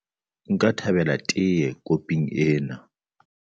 Nka thabela tee koping ena.